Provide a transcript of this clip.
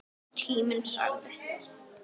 Þín nafna, Arndís.